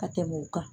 Ka tɛmɛ o kan